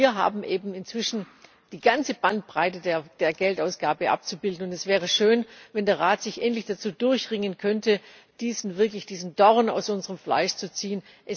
Aber wir haben eben inzwischen die ganze Bandbreite der Geldausgabe abzubilden. Es wäre schön, wenn der Rat sich endlich dazu durchringen könnte, wirklich diesen Dorn aus unserem Fleisch zu ziehen.